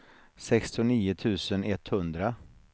sextionio tusen etthundra